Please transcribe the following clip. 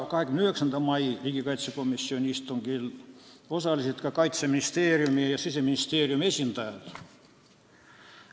29. mai riigikaitsekomisjoni istungil osalesid ka Kaitseministeeriumi ja Siseministeeriumi esindajad.